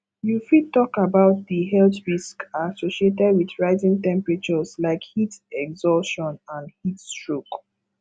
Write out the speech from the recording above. you fit talk about di health risks associated with rising temperatures like heat exhaustion and heat stroke